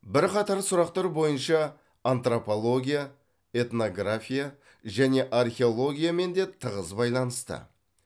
бір қатар сұрақтар бойынша антропология этнография және археологиямен де тығыз байланысты